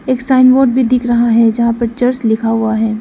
एक sign board भी दिख रहा है जहां पे चर्च लिखा हुआ है।